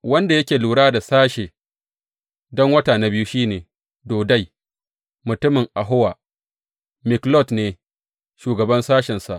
Wanda yake lura da sashen don wata na biyu shi ne Dodai mutumin Ahowa; Miklot ne shugaban sashensa.